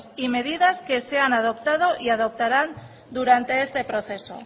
y medidas que se han adoptado y adoptarán durante este proceso